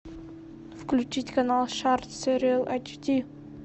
включить канал шарт сериал айчди